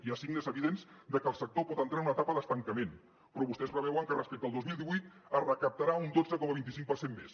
hi ha signes evidents de que el sector pot entrar en una etapa d’estancament però vostès preveuen que respecte al dos mil divuit es recaptarà un dotze coma vint cinc per cent més